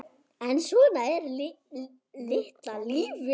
En svona er litla lífið.